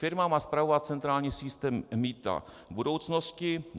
Firma má spravovat centrální systém mýta v budoucnosti.